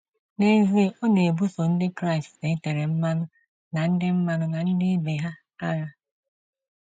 N’ezie, ọ na-ebuso Ndị Kraịst e tere mmanụ na ndị mmanụ na ndị ibe ha agha.